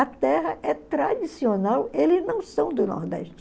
A terra é tradicional, eles não são do Nordeste.